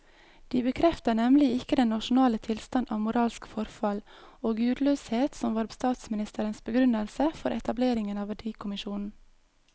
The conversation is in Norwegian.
De bekrefter nemlig ikke den nasjonale tilstand av moralsk forfall og gudløshet som var statsministerens begrunnelse for etableringen av verdikommisjonen.